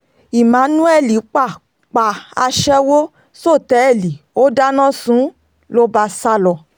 emmanuel pa pa aṣẹ́wó sọ́tẹ́ẹ̀lì ó dáná sun ún ló bá sá lọ